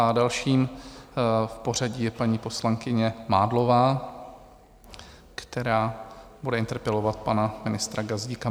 A další v pořadí je paní poslankyně Mádlová, která bude interpelovat pana ministra Gazdíka.